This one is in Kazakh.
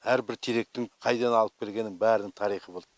әрбір теректің қайдан алып келгені бәрінің тарихы болт